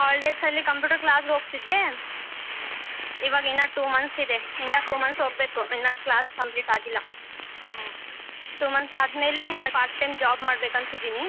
Holidays ಅಲಿ computer class ಹೋಗತಿದ್ದೆ ಇವಾಗ ಇನ್ನ two months ಇದೆ ಇನ್ನ two months ಹೋಗ್ಬೇಕು ಇನ್ನ class complete ಆಗಿಲ್ಲ two months ಆದ್ಮೇಲೆ part time job ಮಾಡಬೇಕಂತ ಇದೀನಿ